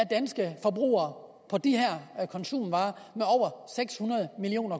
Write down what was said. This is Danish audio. danske forbrugere på de her konsumvarer med over seks hundrede million